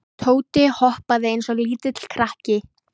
Tóti hoppaði eins og lítill krakki.